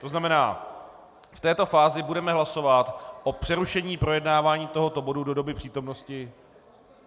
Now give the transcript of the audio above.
To znamená, v této fázi budeme hlasovat o přerušení projednávání tohoto bodu do doby přítomnosti...